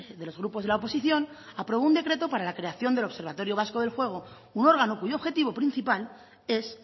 de los grupos de la oposición aprobó un decreto para la creación del observatorio vasco del juego un órgano cuyo objetivo principal es